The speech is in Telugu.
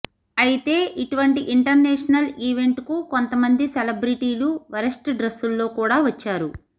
అయితే ఇటువంటి ఇంటర్నేషనల్ ఈవెంట్ కు కొంత మంది సెలబ్రెటీలు వరెస్ట్ డ్రెస్సుల్లో కూడా వచ్చారు